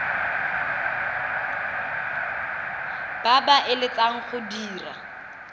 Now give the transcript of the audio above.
ba ba eletsang go dira